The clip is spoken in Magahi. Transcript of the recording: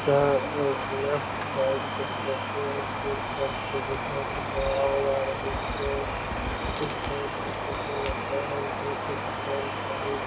छै ए लेफ्ट साइड के फोटो हेय पुल पर से जे कहे हेय ने आओ यार अभी कोय उस साइड के फोटो लेते बहुत डिस्टेंस हेय हई ।